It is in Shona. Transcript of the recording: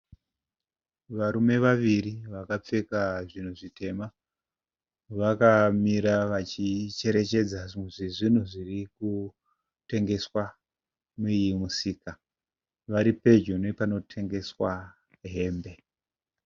Varume vaviri vakapfeka zvinhu zvitema. Vakamira vachicherechedza zvimwe zvezvinhu zvirikutengeswa mumusika. Varipedyo nepanotengeswa hembe.